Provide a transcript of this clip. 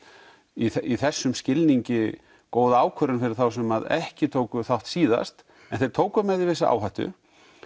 í þessum skilningi góð ákvörðun fyrir þá sem ekki tóku þátt síðast en þeir tóku með því vissa áhættu